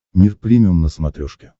мир премиум на смотрешке